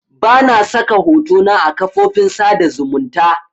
Bana saka hotona a kafofin sada zumunta